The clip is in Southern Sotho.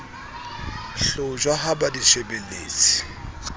hlotjhwa ha ba di shebelletse